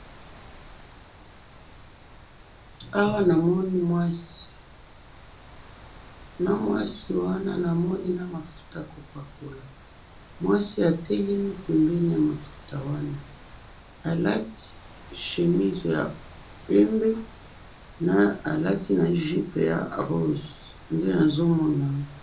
Awa namoni mwasi, mwasi namafuta yakopakola, mwasi atelemi pembeni yamafuta wana, alati chemise ya pembe, na jupe ya rose.